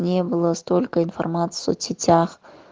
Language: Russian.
не было столько информации в соцсетях